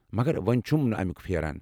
مگر وۄنہِ چھُم اَمِیُک پھیران ۔